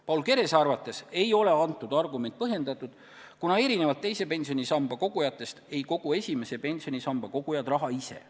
Paul Kerese arvates ei ole see argument põhjendatud, kuna erinevalt teise pensionisambasse kogujatest ei kogu esimesse pensionisambasse kogujad raha ise.